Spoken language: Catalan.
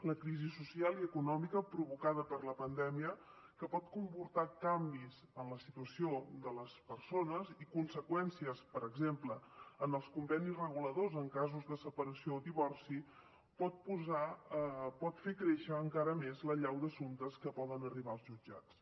la crisi social i econòmica provocada per la pandèmia que pot comportar canvis en la situació de les persones i conseqüències per exemple en els convenis reguladors en casos de separació o divorci pot fer créixer encara més l’allau d’assumptes que poden arribar als jutjats